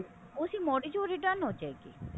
use ਚੋਂ return ਹੋਜੇਗੀ